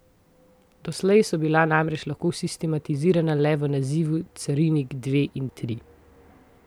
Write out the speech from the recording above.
Doslej so bila namreč lahko sistematizirana le v nazivu carinik dve in tri.